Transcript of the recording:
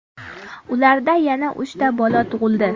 Ularda yana uchta bola tug‘ildi.